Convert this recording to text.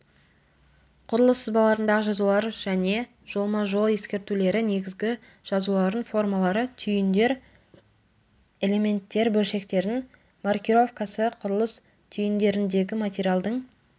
құрылыс сызбаларындағы жазулар және жолма-жол ескертулері негізгі жазулардың формалары түйіндер элементтер бөлшектердің маркировкасы құрылыс түйіндеріндегі материалдың